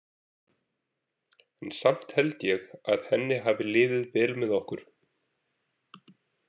En samt held ég að henni hafi liðið vel með okkur.